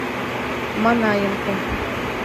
манаенко